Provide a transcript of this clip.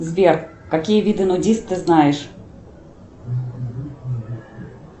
сбер какие виды нудисты ты знаешь